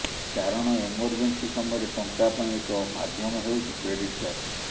କାରଣ ଏମର୍ଜେନ୍ସି ସମୟରେ ଟଙ୍କା ପାଇଁ ଏକ ମାଧ୍ୟମ ହେଉଛି କ୍ରେଡିଟ୍ କାର୍ଡ